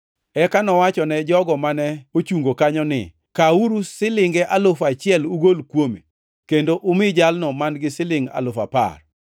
“Eka nowachone jogo mane ochungo kanyo ni, ‘Kawuru silinge alufu achiel ugol kuome kendo umi jalno man-gi silingʼ alufu apar.’